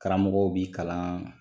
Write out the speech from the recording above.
Karamɔgɔw b'i kalan